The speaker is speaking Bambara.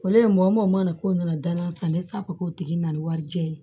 Ole ye mɔmɔ k'o nana danna san ne sago k'o tigi nana ni warijɛ ye